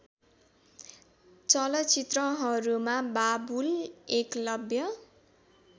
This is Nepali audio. चलचित्रहरूमा बाबुल एकलव्य